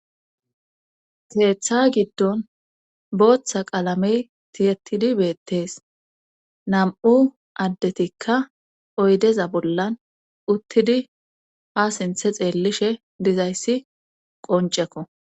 Seeththa giddon booththa qaalamey tiyettidi beettees nam'u addetikka oydeza bollan uttidi ha sinthe xeellishe dizayssi qoncekko.